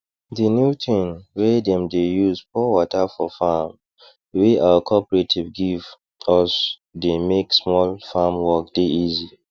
the new thing wey dem dey use pour water for farm wey our cooperative give usthey make small farm work dey easy